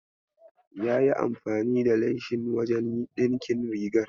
Yayi amfani da leshin wajen ɗinkin rigar?